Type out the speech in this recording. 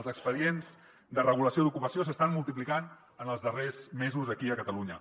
els expedients de regulació d’ocupació s’estan multiplicant en els darrers mesos aquí a catalunya